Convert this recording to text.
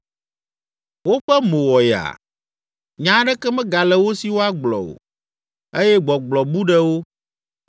“Woƒe mo wɔ yaa, nya aɖeke megale wo si woagblɔ o eye gbɔgblɔ bu ɖe wo.